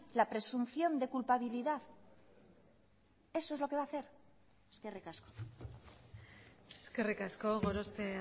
la presunción de culpabilidad eso es lo que va a hacer eskerrik asko eskerrik asko gorospe